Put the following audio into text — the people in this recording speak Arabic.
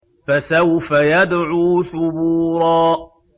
فَسَوْفَ يَدْعُو ثُبُورًا